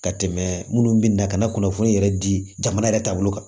Ka tɛmɛ minnu bi na ka na kunnafoni yɛrɛ di jamana yɛrɛ taabolo kan